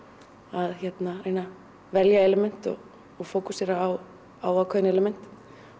að reyna að velja element og fókusera á ákveðin element